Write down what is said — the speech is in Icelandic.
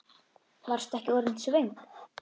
Varstu ekki orðin svöng?